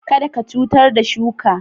Kada ka cutar da shuka